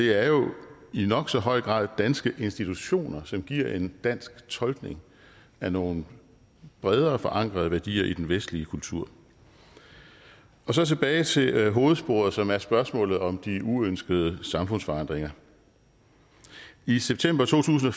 er jo i nok så høj grad danske institutioner som giver en dansk tolkning af nogle bredere forankrede værdier i den vestlige kultur så tilbage til hovedsporet som er spørgsmålet om de uønskede samfundsforandringer i september to tusind og